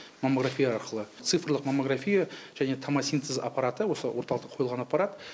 маммография арқылы цифрлық маммография және тамосинтез аппараты осы орталықта қойылған аппарат